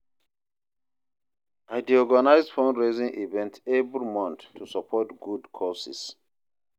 I dey organize fundraising events every month to support good causes.